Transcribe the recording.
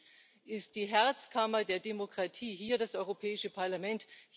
Für mich ist die Herzkammer der Demokratie hier das Europäische Parlament.